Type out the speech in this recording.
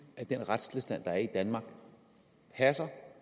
at den retstilstand der er i danmark passer